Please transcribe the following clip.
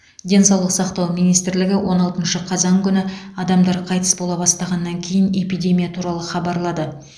денсаулық сақтау министрлігі он алтыншы қазан күні адамдар қайтыс бола бастағаннан кейін эпидемия туралы хабарлады